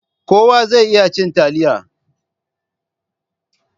Kowa zai iya cin taliya.